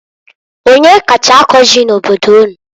Onyee kacha akọ ji n'obodo unu?